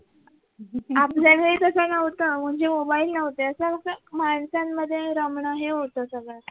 आपल्या वेळी तस नव्हत म्हणजे mobile नव्हते अस कस माणसांमध्ये रमण हे होत सगळ